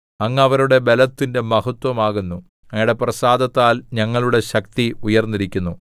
അങ്ങ് അവരുടെ ബലത്തിന്റെ മഹത്ത്വമാകുന്നു അങ്ങയുടെ പ്രസാദത്താൽ ഞങ്ങളുടെ ശക്തി ഉയർന്നിരിക്കുന്നു